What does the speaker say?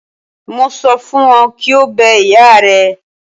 Mo sọ fún ọ kí o bẹ ìyá rẹ.